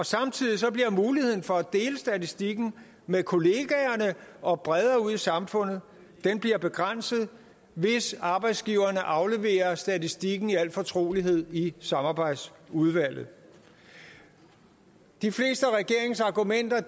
samtidig bliver muligheden for at dele statistikken med kollegaerne og bredere ud i samfundet begrænset hvis arbejdsgiverne afleverer statistikken i al fortrolighed i samarbejdsudvalget de fleste af regeringens argumenter er